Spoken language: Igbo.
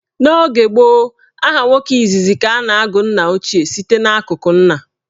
N' oge gboo, aha nwoke izizi ka a na-agụ nnaochie site n'akụkụ nna.